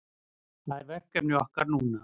Það er verkefni okkar núna